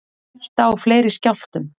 Hætta á fleiri skjálftum